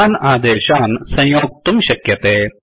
इमान् आदेशान् संयोक्तुं शक्यते